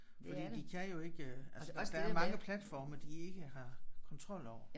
Fordi de kan jo ikke altså der er mange platforme de ikke har kontrol over